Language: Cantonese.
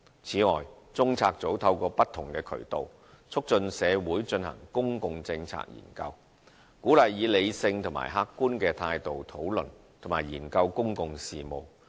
此外，中策組透過不同渠道促進社會進行公共政策研究，鼓勵以理性及客觀的態度討論及研究公共事務。